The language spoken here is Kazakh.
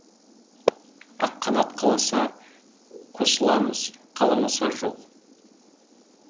аққанат қаласа қосыламыз қаламаса жоқ